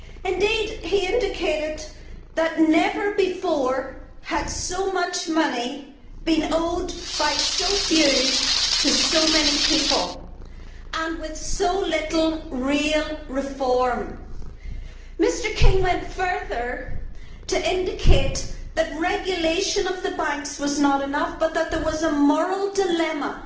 Indeed, he indicated that never before had so much money been owed by so few to so many people and with so little real reform. Mr King went further to indicate that regulation of the banks was not enough, but that there was a moral dilemma